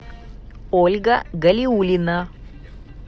ольга галиуллина